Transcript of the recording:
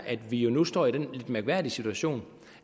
at vi nu står i den mærkværdige situation